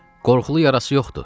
Qorxulu yarası yoxdur.